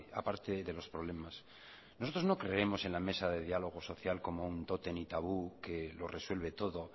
aparte de los problemas nosotros no creemos en la mesa de diálogo social como un tótem y tabú que lo resuelve todo